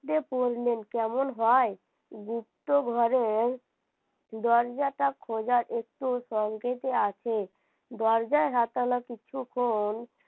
দেখে পড়ল কেমন হয়? গুপ্ত ঘরে দরজা টা খোজার একটা সংকেত আছে দরজা হাতালো কিছুক্ষন